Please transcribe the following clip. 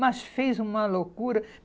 Mas fez uma loucura.